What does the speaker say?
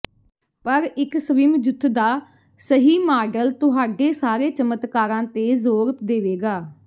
ਪਰ ਇੱਕ ਸਵਿਮਜੁੱਥ ਦਾ ਸਹੀ ਮਾਡਲ ਤੁਹਾਡੇ ਸਾਰੇ ਚਮਤਕਾਰਾਂ ਤੇ ਜ਼ੋਰ ਦੇਵੇਗਾ